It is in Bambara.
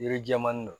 Yiri jɛman nin na